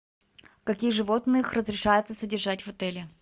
каких животных разрешается содержать в отеле